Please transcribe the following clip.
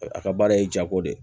A ka baara ye jago de ye